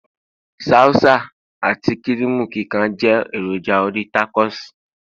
salsa ati kirimu kikan je eroja orí tacos